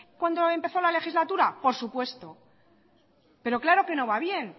cuando empezó la legislatura por supuesto pero claro que no va bien